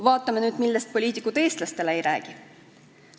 Vaatame nüüd, millest poliitikud eestlastele ei räägi.